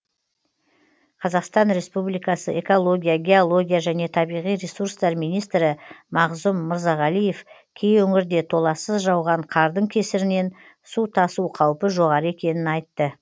қазақстан республикасы экология геология және табиғи ресурстар министрі мағзұм мырзағалиев кей өңірде толассыз жауған қардың кесірінен су тасу қаупі жоғары екенін айтты